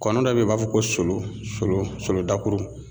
Kɔni dɔ be yen o b'a fɔ ko solo solo dakuru